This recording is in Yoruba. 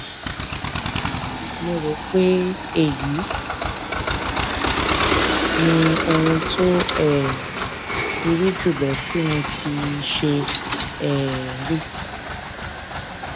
mo rò pé èyí ni ohun tó um burú jùlọ tí mo tíì ṣe um rí